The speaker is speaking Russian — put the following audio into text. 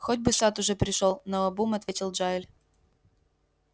хоть бы сатт уже пришёл наобум ответил джаэль